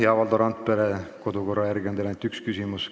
Hea Valdo Randpere, kodukorra järgi on teil võimalik esitada ainult üks küsimus.